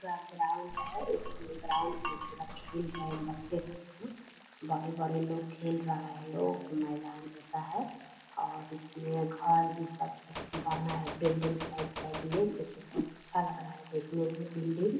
का ग्राउन्ड है उसमे ग्राउन्ड मे पूरा सब खेल रहे है बच्चे सब है बड़े-बड़े लोग खेल रहा है लोग मैदान जैसा है और इसमे घर भी सब कुछ बना है बिल्डिंग साइड-साइड मे जो की बहुत अच्छा लग रहा हैं देखने मे बिल्डिंग --